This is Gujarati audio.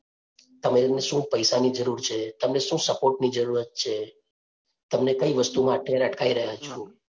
તમે એને શું પૈસા ની જરૂર છે, તમને શું support ની જરૂરત છે, તમને કઈ વસ્તુમાં અત્યારે અટકાઈ રહ્યા છે